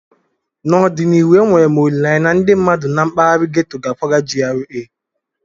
N'ọdịnihu, enwere m olileanya na ndị mmadụ na mpaghara ghetto ga-akwaga GRA